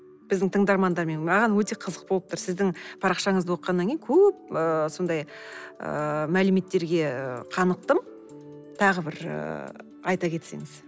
біздің тыңдармандармен маған өте қызық болып тұр сіздің парақшаңызды оқығаннан кейін көп ы сондай ы мәліметтерге қанықтым тағы бір ыыы айта кетсеңіз